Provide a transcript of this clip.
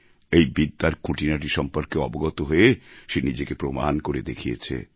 এই বিদ্যার খুঁটিনাটি সম্পর্কে অবগত হয়ে সে নিজেকে প্রমাণ করে দেখিয়েছে